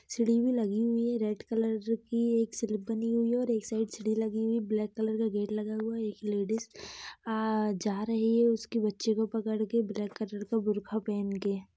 CD भी लगी हुई है रेड कलर की एक स्लीप बनी हुई और एक साइड सीडी लगी हुई ब्लैक कलर का गेट लगा हुआ है एक लेडिस आ जा रही है उसके बच्चे को पकड़ के ब्लैक कलर का बुर्का पहन के।